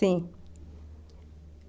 Sim.